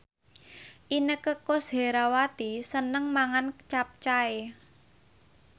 Inneke Koesherawati seneng mangan capcay